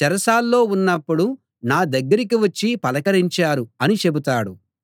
చెరసాల్లో ఉన్నప్పుడు నా దగ్గరికి వచ్చి పలకరించారు అని చెబుతాడు